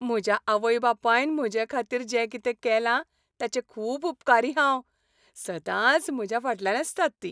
म्हज्या आवय बापायन म्हजे खातीर जें कितें केलां ताचें खूब उपकारी हांव. सदांच म्हज्या फाटल्यान आसतात तीं.